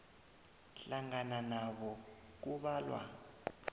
hlangana nabo kubalwa